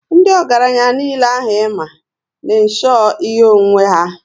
Ndị ọgaranya niile ahụ i ma, n' insho ihe onwunwe ha